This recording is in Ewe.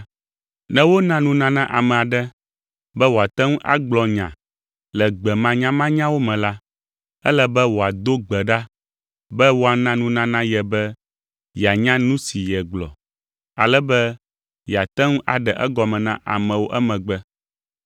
Ne wona nunana ame aɖe be wòate ŋu agblɔ nya le gbe manyamanyawo me la, ele be wòado gbe ɖa be woana nunana ye be yeanya nu si yegblɔ, ale be yeate ŋu aɖe egɔme na amewo emegbe.